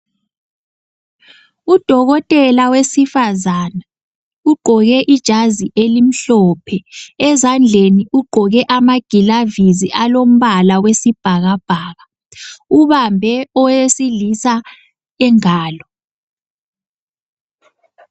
Udokotela wesifazane, ugqoke ijazi elimhlophe ezandleni ugqoke amagilavisi alombala wesibhakabhaka ubambe owesilisa ingalo.